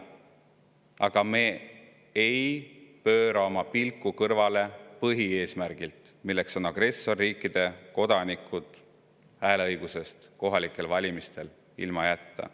Aga me ei pööra oma pilku kõrvale põhieesmärgilt, milleks on see, et agressorriikide kodanikud tuleb kohalikel valimistel hääleõigusest ilma jätta.